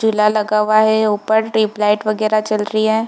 झूला लगा हुआ है ऊपर ट्यूबलाइट वगैरा जल रही है।